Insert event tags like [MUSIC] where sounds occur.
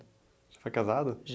Você foi casado? [UNINTELLIGIBLE]